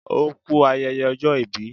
O kú ayẹyẹ ọjọ́ ìbí